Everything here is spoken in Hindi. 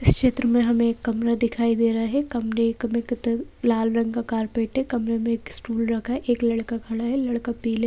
इस क्षेत्र में हमें कमरा दिखाई दे रहा है कमरे का लाल रंग का कारपेट है कमरे में एक स्टूल रखा है एक लड़का खड़ा है लड़का पीला--